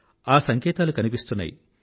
ఆ సంకేతాలు కనిపిస్తున్నాయి